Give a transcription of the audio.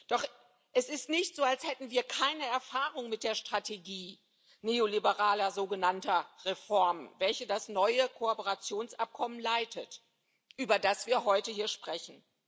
Doch es ist nicht so, als hätten wir keine Erfahrung mit der Strategie neoliberaler, sogenannter Reformen, welche das neue Kooperationsabkommen leitet, über das wir heute hier sprechen.